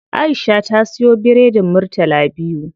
Aisha ta siya biredin murtala biyu.